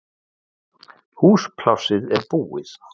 Húsplássið er búið